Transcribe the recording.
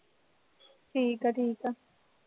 ਠੀਕ ਹੈ ਠੀਕ ਹੈ